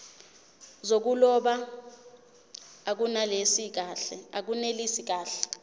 zokuloba akunelisi kahle